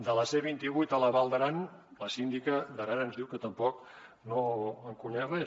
de la c vint vuit a la val d’aran la síndica d’aran ens diu que tampoc no en coneix res